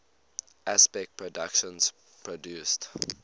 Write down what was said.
aspect productions produced